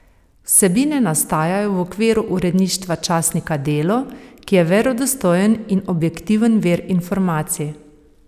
Vsebine nastajajo v okviru uredništva časnika Delo, ki je verodostojen in objektiven vir informacij.